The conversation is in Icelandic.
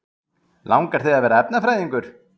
Helga: Langar þig að verða efnafræðingur?